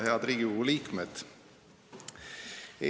Head Riigikogu liikmed!